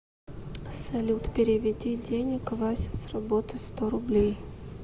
салют переведи денег вася с работы сто рублей